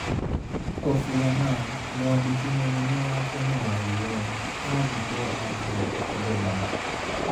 Kofi Annan: Mwandiki mũnene wa tene wa UN athikwo Accra, Ghana